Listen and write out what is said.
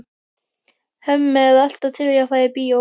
Hemmi er alltaf til í að fara í bíó.